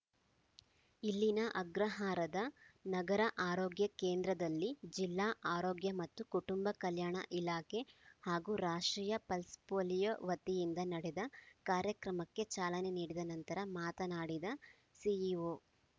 ಇಲ್ಲಿನ ಅಗ್ರಹಾರದ ನಗರ ಆರೋಗ್ಯ ಕೇಂದ್ರದಲ್ಲಿ ಜಿಲ್ಲಾ ಆರೋಗ್ಯ ಮತ್ತು ಕುಟುಂಬ ಕಲ್ಯಾಣ ಇಲಾಖೆ ಹಾಗೂ ರಾಷ್ಟ್ರೀಯ ಪಲ್ಸ್‌ ಪೋಲಿಯೋ ವತಿಯಿಂದ ನಡೆದ ಕಾರ್ಯಕ್ರಮಕ್ಕೆ ಚಾಲನೆ ನೀಡಿದ ನಂತರ ಮಾತನಾ‌ಡಿದ ಸಿಇಓ